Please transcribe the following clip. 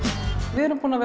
við erum búin að